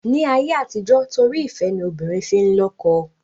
Ni ayé àtijọ́ torí ìfẹ́ ni obìnrin fi n lọ́kọ